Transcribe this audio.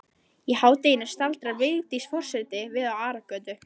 Í hádeginu staldrar Vigdís forseti við á Aragötu.